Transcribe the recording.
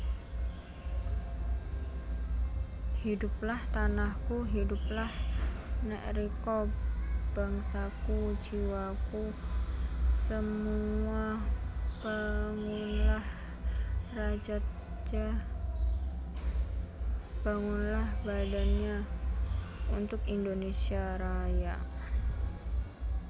Hidoeplah tanahkoe Hidoeplah neg rikoe Bangsakoe djiwakoe semoea Bangoenlah rajatnja Bangoenlah badannja Oentoek Indonésia Raja